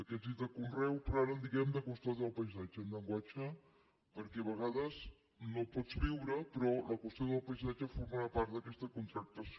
aquests he dit de conreu però ara en diem de custòdia del paisatge en llenguatge perquè a vegades no pots viure però la qüestió del paisatge formarà part d’aquesta contractació